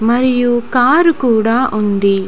మరియు కార్ కూడా ఉంది.